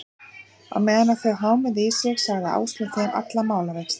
Og meðan þau hámuðu í sig, sagði Áslaug þeim alla málavexti.